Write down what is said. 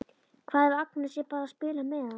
Hvað ef Agnes er bara að spila með hann?